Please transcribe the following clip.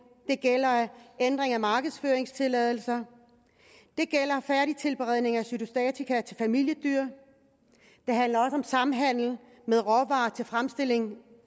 det gælder en ændring af markedsføringstilladelser og det gælder færdigtilberedning af cytostatika til familiedyr det handler om samhandel med råvarer til fremstilling